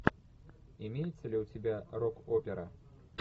имеется ли у тебя рок опера